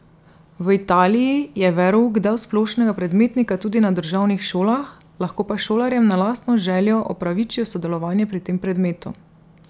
V Italiji je verouk del splošnega predmetnika tudi na državnih šolah, lahko pa šolarjem na lastno željo opravičijo sodelovanje pri tem predmetu.